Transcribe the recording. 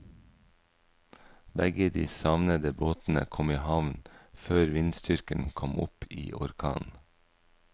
Begge de savnede båtene kom i havn før vindstyrken kom opp i orkan.